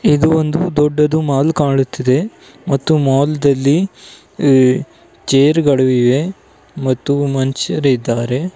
ಇದು ಒಂದು ದೊಡ್ಡದು ಮಾಲ್ ಕಾಣುತ್ತಿದೆ ಮತ್ತು ಮಾಲ್ ದಲ್ಲಿ ಚೇರು ಗಳು ಇವೆ ಮತ್ತು ಮನುಷ್ಯರಿದ್ದಾರೆ.